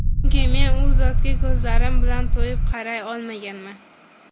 Chunki men U zotga ko‘zlarim bilan to‘yib qaray olmaganman”.